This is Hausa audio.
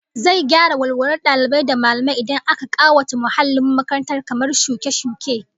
Zai gyara walwalar dalibai da mallamai idan aka kawata muhallin makaranta kamar shuke-shuke